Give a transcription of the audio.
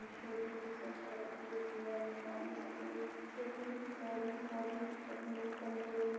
छोटी सब तरह की मछलियां है काली सफ़ेद छोटी चौड़ी मोटी कमजोर --